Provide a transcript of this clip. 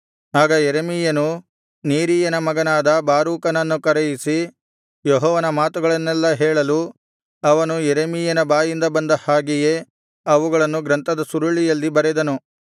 ಆಗ ಯೆರೆಮೀಯನು ನೇರೀಯನ ಮಗನಾದ ಬಾರೂಕನನ್ನು ಕರೆಯಿಸಿ ಯೆಹೋವನ ಮಾತುಗಳನ್ನೆಲ್ಲಾ ಹೇಳಲು ಅವನು ಯೆರೆಮೀಯನ ಬಾಯಿಂದ ಬಂದ ಹಾಗೆಯೇ ಅವುಗಳನ್ನು ಗ್ರಂಥದ ಸುರುಳಿಯಲ್ಲಿ ಬರೆದನು